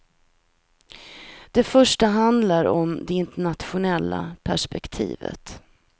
Det första handlar om det internationella perspektivet.